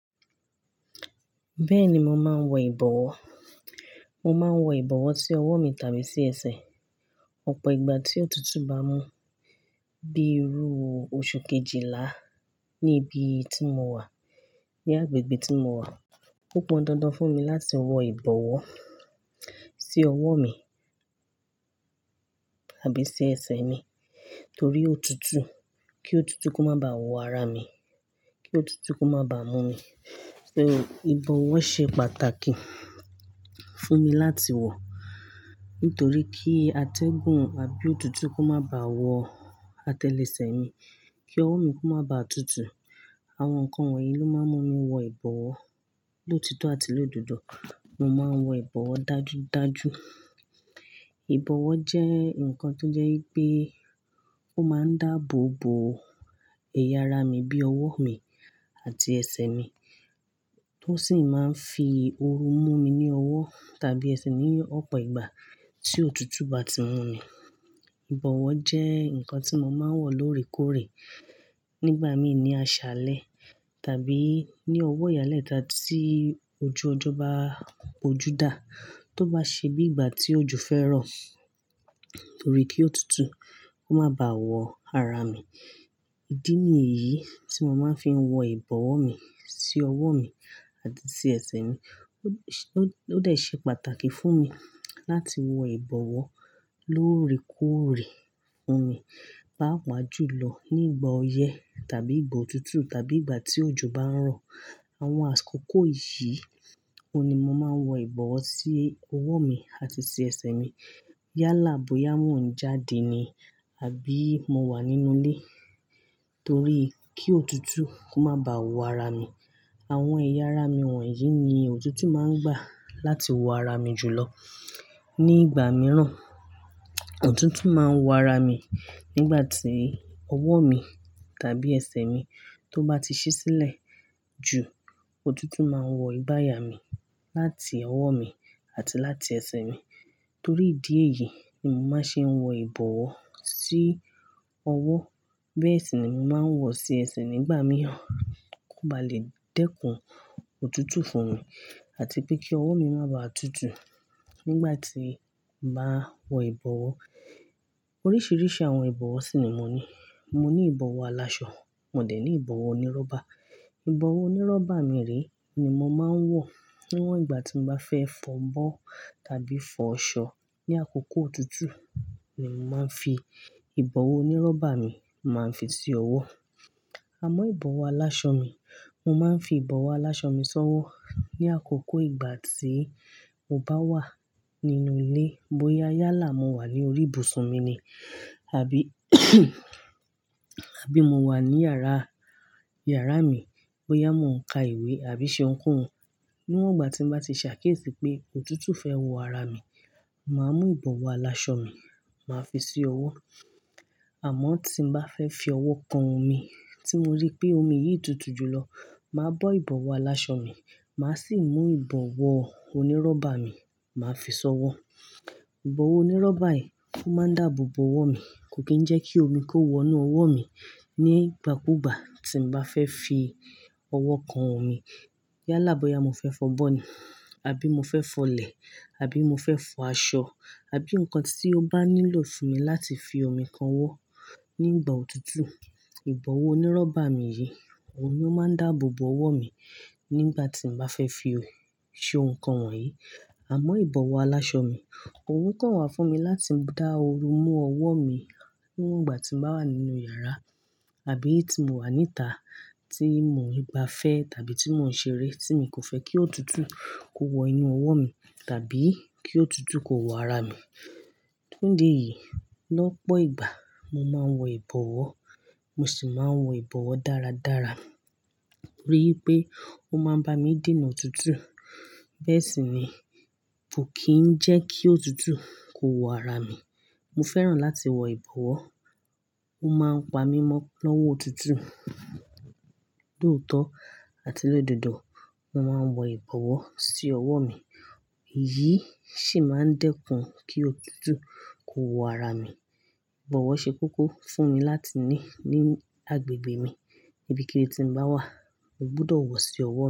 Bẹ́ẹ̀ni, mo máa ń wọ ìbọ̀wọ́. Mo máa ń wọ ìbọ̀wọ́ sí ọwọ́ mi tàbí sí ẹsẹ̀. Ọ̀pọ̀ ìgbà tí òtútù bá mú bíi ru oṣù kejìlá níbi tí mo wà, ní agbègbè tí mo wà, ó pọn dandan fún mi láti wọ ìbọ̀wọ́ sí ọwọ́ mi tàbí sí ẹsẹ̀ mi torí òtútù, kí òtútù kó má ba wọ ara mi, kí òtútù kó má ba mú mi. So ìbọ̀wọ́ ṣe pàtàkì fún mi láti wọ nítorí kí atẹ́gùn àbí òtútù kó má ba wọ atẹlẹsẹ̀ mi, kí ọwọ́ mi kó má ba tutù. Àwọn nǹkan wọ̀nyí ló máa ń mú mi wọ ìbọ̀wọ́ lóòtọ́ àti lóòdodo. Mo máa ń wọ ìbọ̀wọ́ dájúdájú. Ìbọ̀wọ́ jẹ́ ǹkan tó jẹ́ pé ó máa ń dáàbò bo ẹ̀yà ara mi bí ọwọ́ mi àti ẹsẹ̀ mi tó sì máa ń fi ooru mú mi ní ọwọ́ tàbí ẹsẹ̀ ní ọ̀pọ̀ ìgbà tí òtútù bá ti mú mi. Ìbọ̀wọ́ jẹ́ ǹkan tí mo máa ń wọ lóòrèkóòrè nígbà mí ní aṣálẹ́ tàbí ní ọwọ́ ìyálẹ́ta tí ojú ọjọ́ bá poju dá tó bá ṣe bí ìgbà tí òjò fẹ́ rọ̀ torí kí òtútù kó má ba wọ ara mi. Ìdí nìyí tí mo máa ń fi wọ ìbọ̀wọ́ mi sí ọwọ́ mi àti sí ẹsẹ̀ mi. Ó-ó-ó dé ṣe pàtàkì fún mi láti wọ ìbọ̀wọ́ lóòrèkóòrè. Fun mi papa jù lọ nígbà ọyẹ́ tàbí ìgbà òtútù tàbí ìgbà tí òjò bá ń rọ̀. Àwọn àṣkòkò yìí, ó ni mo máa ń wọ ìbọ̀wọ́ sí ọwọ́ mi àti sí ẹsẹ̀ mi yálà bóyá mò ń jáde ni àbí mo wà nínú ilé torí kí òtútù kó má ba wọ ara mi. Àwọn ẹ̀yà ara mi wọ̀nyí ni òtútù máa ń gbà láti wọ ara mi jù lọ. Ní ìgbà mìíràn, òtútù máa ń wọ ara mi nígbà tí ọwọ́ mi tàbí ẹsẹ̀ mi tó bá ti ṣí sílẹ̀ jù. Òtútù máa ń wọ ìbàya mi láti ọwọ́ mi àti láti ẹsẹ̀ mi. Torí ìdí èyí ni mo máa ń ṣe wọ ìbọ̀wọ́ sí ọwọ́. Bẹ́ẹ̀ sì ni mo máa ń wọ sí ẹsẹ̀ nígbà mìíràn kó ba lè dẹ́kun òtútù fún mi àti pé kí ọwọ́ mi má ba à tutù nígbà tí màá wọ ìbọ̀wọ́. Oríṣiríṣi àwọn ìbọ̀wọ́ sì ni mo ní. Mo ní ìbọ̀wọ́ aláṣọ, mò dé ní ìbọ̀wọ́ onírọ́bà. Ìbọ̀wọ́ onírọ́bà mi rè ni mo máa ń wọ níwọ̀n ìgbà tí mo bá fẹ́ fọ ńbọ́ tàbí fọ ṣọ. Ni àkókò òtútù ni mo máa ń fi ìbọ̀wọ́ onírọ́bà mi máa ń fi sí ọwọ́. Àmọ́ ìbọ̀wọ́ aláṣọ mi, mo máa ń fi ìbọ̀wọ́ aláṣọ mi ṣọwọ́ ní àkókò ìgbà tí mo bá wà nínú ilé bóyá yálà mo wà ní orí ibùsùn mi ni àbí àbí mo wà ní yàrá, yàrá mi bóyá mò ń ka ìwé àbí ṣe ohunkóhun. Níwọ̀n ìgbà tí mo bá ti ṣàkíyèsí pé òtútù fẹ́ wọ ara mi, màá mú ìbọ̀wọ́ aláṣọ mi, màá fi sí ọwọ́. Àmọ́ tí mo bá fẹ́ fi ọwọ́ kan omi tí mo rí pé omi yìí tutù jù lọ, màá bọ́ ìbọ̀wọ́ aláṣọ mi, màá sì mú ìbọ̀wọ́ onírọ́bà mi, màá fi ṣọwọ́. Ìbọ̀wọ́ onírọ́bà yìí oó máa ń dáàbò bo ọwọ́ mi, kò kí ń jẹ́ kí omi kó wọ inú ọwọ́ mi. Ní ìgbà kú ìgbà tí mo bá fẹ́ fi ọwọ́ kan omi yálà bóyá mo fẹ́ fọ bọ́ ni àbí mo fẹ́ fọlẹ̀ àbí mo fẹ́ fọ aṣọ àbí ǹkan tí ó bá nílò fún mi láti fi ọmi kan wọ́ nígbà òtútù, ìbọ̀wọ́ onírọ́bà mi yìí, òun ni ó máa ń dáàbò bo ọwọ́ mi nígbà tí mo bá fẹ́ fi ṣe ohun kan won yìí. Àmọ́ ìbọ̀wọ́ aláṣọ mi, òun kàn wà fún mi láti dá ooru mú ọwọ́ mi níwọ̀n ìgbà tí màá wà nínú yàrá àbí tí mo wà níta tí mo n gbà fẹ́ tàbí tí mo ń ṣeré tí mi kò fẹ́ kí òtútù kó wọ inú ọwọ́ mi tàbí kí òtútù kó wọ ara mi. Fun ìdí yìí lọ́pọ̀ ìgbà mo máa ń wọ ìbọ̀wọ́, mo sì máa ń wọ ìbọ̀wọ́ dáradára torí pé ó máa ń bá mi dènà òtútù. Bẹ́ẹ̀ sì ni, kò kì í jẹ́ kí òtútù kó wọ ara mi. Mo fẹ́ràn láti wọ ìbọ̀wọ́, ó máa ń pa mí mọ́ lọ́wọ́ òtútù. Lóòtọ́ àti lóòdodo, mo máa ń wọ ìbọ̀wọ́ sí ọwọ́ mi, èyí sì máa ń dẹ́kun kí òtútù kó wọ ara mi. Ìbọ̀wọ́ ṣe kókó fún mi láti ní ní agbègbè mi níbikíni tí mo bá wà, mo gbọdọ̀ wọ̀ sí ọwọ́ mi.